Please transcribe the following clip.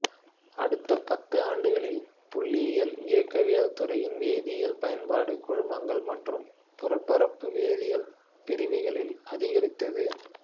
அடுத்த பத்தாண்டுகளில் புள்ளியியல் இயக்கவியல் துறையின் வேதியியல் பயன்பாடு கூழ்மங்கள் மற்றும் புறப்பரப்பு வேதியியல் பிரிவிகளில் அதிகரித்தது